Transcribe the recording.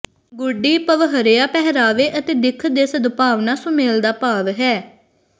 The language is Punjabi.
ਗੁੱਡੀ ਪਵਹਰਾਿਾ ਪਹਿਰਾਵੇ ਅਤੇ ਦਿੱਖ ਦੇ ਸਦਭਾਵਨਾ ਸੁਮੇਲ ਦਾ ਭਾਵ ਹੈ